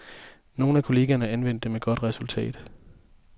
Nogle af kollegerne anvendte det med godt resultat.